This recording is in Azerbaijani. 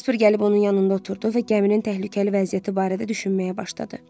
Jasper gəlib onun yanında oturdu və gəminin təhlükəli vəziyyəti barədə düşünməyə başladı.